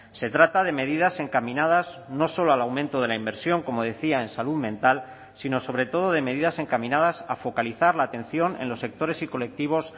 se trata de medidas encaminadas no solo al aumento de la inversión como decía en salud mental sino sobre todo de medidas encaminadas a focalizar la atención en los sectores y colectivos